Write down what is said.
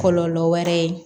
Kɔlɔlɔ wɛrɛ ye